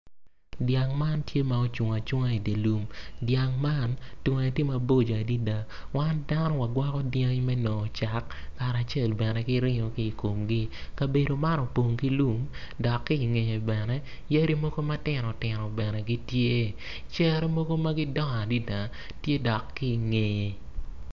Dyang man tye ma ocung acunga idye lum dyang man tunge tye mabocco adada wan dano wagwoko dyangi me nongo cak kacel bene ki ringo ki i komgi kabedo man opong ki lum dok ki ingeye bene yadi mogo ma tino bene gitye cere mogo ma gidongo adada tye dok ki ingeye.